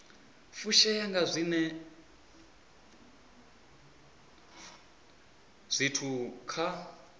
fushea nga zwiwe zwithu kha